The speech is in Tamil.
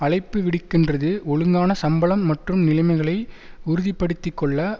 அழைப்பு விடுக்கின்றது ஒழுங்கான சம்பளம் மற்றும் நிலைமைகளை உறுதிப்படுத்திக்கொள்ள